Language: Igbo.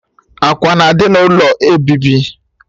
Ákwà na-adị n'ụlọ obibi